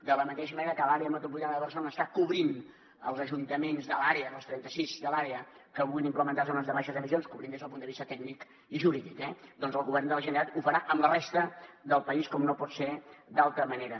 de la mateixa manera que l’àrea metropolitana de barcelona està cobrint els ajuntaments de l’àrea els trenta sis de l’àrea que vulguin implementar zona de baixes emissions cobrint los des del punt de vista tècnic i jurídic eh doncs el govern de la generalitat ho farà amb la resta del país com no pot ser d’altra manera